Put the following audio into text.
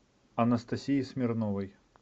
анастасии смирновой